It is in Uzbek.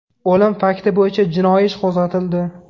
O‘lim fakti bo‘yicha jinoiy ish qo‘zg‘atildi.